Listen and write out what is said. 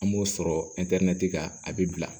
An b'o sɔrɔ kan a bɛ bila